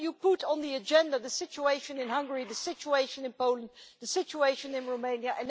Will you put on the agenda the situation in Hungary, the situation in Poland, the situation in Romania?